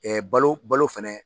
Ɛɛ balo balo fana